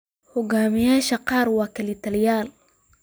Hogaamiyayaasha qaar waa kalitaliyaal.